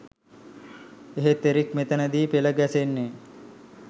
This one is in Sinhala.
එහෙත් එරික් මෙතැන දී පෙළ ගැසෙන්නේ